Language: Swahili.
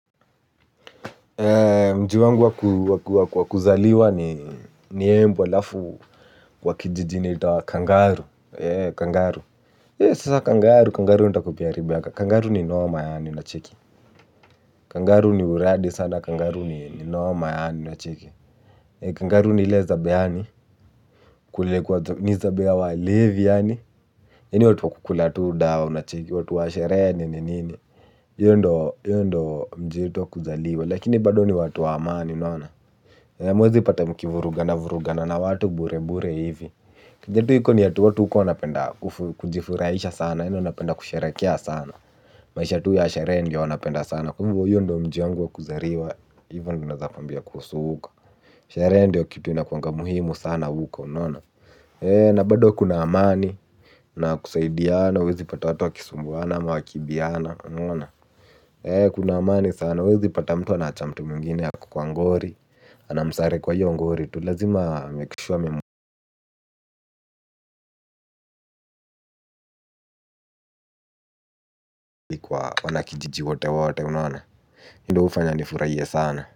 Mji wangu wakuzaliwa ni embu halafu wa kijijini inaitwa Kangaru. Kangaru nitakupea riba kangaru ni noma yaani unacheki kangaru ni uradi sana. Kangaru ni noma yaani. Unacheki Kangaru ni ile zabe yaani. Ni zabe ya walevi.yaani watu wakukula tu dawa. Watu wa sherehe nini nini. Hiyo ndo mji wetu wa kuzaliwa. Lakini bado ni watu wa amani. Unaona hamuwezipata mkivurugana vurugana na watu bure bure hivi kenye tu iko ni ati watu huko wanapenda kujifurahisha sana yaani wanapenda kusherehekea sana. Maisha tu ya sherehe ndo wanapenda sana. Kwahivo hiyo ndo mji wangu wa kuzaliwa hivo ndo naeza kwambia kuhusu huko. Sherehe ndio kitu ina kuwanga muhimu sana huko unaona bado kuna amani na kusaidiana huwezi pata watu wakisumbuana ama wakiibiana. Kuna amani sana huwezi pata mtu anaacha mtu mwingine ako kwa ngori amsare kwa hiyo ngori tu lazima amake sure. Wanakijiji wote wote unaona hiyo ndo hufanya nifurahie sana.